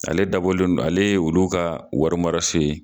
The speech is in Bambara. Ale dabɔlen don , ale ye olu ka warimaso ye